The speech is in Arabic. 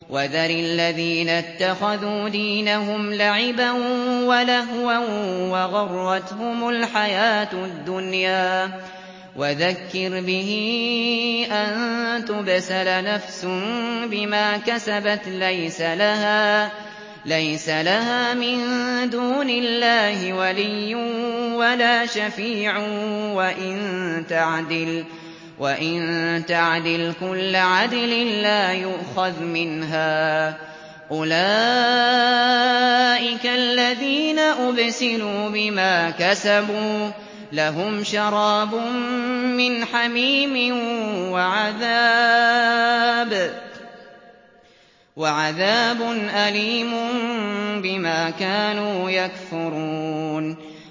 وَذَرِ الَّذِينَ اتَّخَذُوا دِينَهُمْ لَعِبًا وَلَهْوًا وَغَرَّتْهُمُ الْحَيَاةُ الدُّنْيَا ۚ وَذَكِّرْ بِهِ أَن تُبْسَلَ نَفْسٌ بِمَا كَسَبَتْ لَيْسَ لَهَا مِن دُونِ اللَّهِ وَلِيٌّ وَلَا شَفِيعٌ وَإِن تَعْدِلْ كُلَّ عَدْلٍ لَّا يُؤْخَذْ مِنْهَا ۗ أُولَٰئِكَ الَّذِينَ أُبْسِلُوا بِمَا كَسَبُوا ۖ لَهُمْ شَرَابٌ مِّنْ حَمِيمٍ وَعَذَابٌ أَلِيمٌ بِمَا كَانُوا يَكْفُرُونَ